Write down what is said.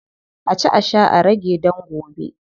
A ci a sha a rage dan gobe.